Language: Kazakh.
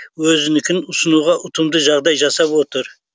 өзінікін ұсынуға ұтымды жағдай жасап отыр